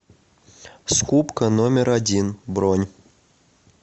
скупка номер один бронь